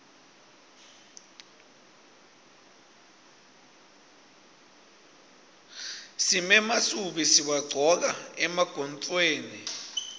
simemasubi siwagcoka emagontfweni